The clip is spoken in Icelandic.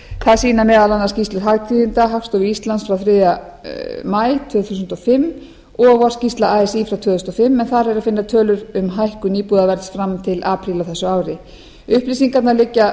það sýna meðal annars skýrslur hagtíðinda hagstofu íslands og þriðja maí tvö þúsund og fimm og vorskýrsla así frá tvö þúsund og fimm en þar er að finna tölur um hækkun íbúðaverðs fram til apríl á þessu ári upplýsingar liggja